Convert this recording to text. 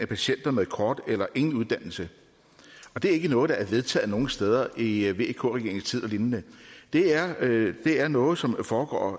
patienter med kort eller ingen uddannelse og det er ikke noget der er vedtaget nogen steder i vk regeringens tid og lignende det er det er noget som foregår